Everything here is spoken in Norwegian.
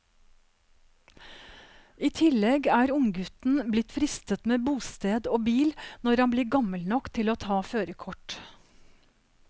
I tillegg er unggutten blitt fristet med bosted og bil når han blir gammel nok til å ta førerkort.